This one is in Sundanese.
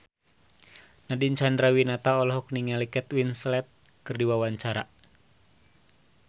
Nadine Chandrawinata olohok ningali Kate Winslet keur diwawancara